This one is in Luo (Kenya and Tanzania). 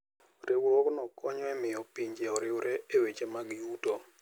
Riwruogno konyo e miyo pinje oriwre e weche mag yuto.